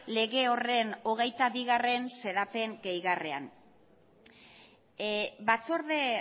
lege horren hogeita bigarrena xedapen gehigarrian batzorde